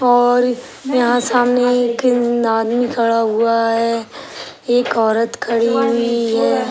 और यहाँ सामने एक खड़ा हुआ है एक औरत खड़ी हुवी है।